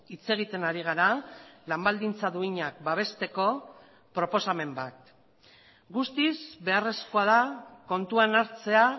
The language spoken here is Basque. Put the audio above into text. hitz egiten ari gara lan baldintza duinak babesteko proposamen bat guztiz beharrezkoa da kontuan hartzea